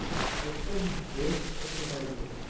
एकदम best exercise आहे.